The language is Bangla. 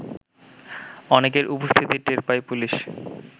অনেকের উপস্থিতি টের পায় পুলিশ